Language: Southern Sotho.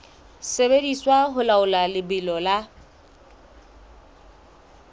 sebediswa ho laola lebelo la